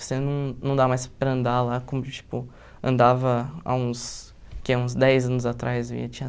Você não não dá mais para andar lá como, tipo, andava há uns, que há uns dez anos atrás, tinha